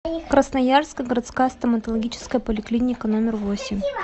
красноярская городская стоматологическая поликлиника номер восемь